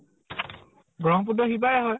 ব্ৰহ্মপুত্ৰৰ সিপাৰে হয়।